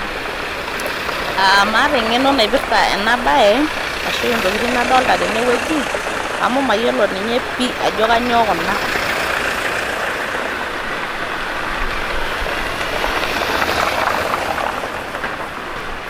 Aa maata eng'eno naipirta ena bae ashu Intokitin nadolita tene wueji amu mayiolo ninye pi ajo kanyio Kuna..